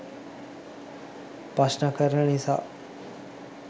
ප්‍රශ්න කරන නිසා.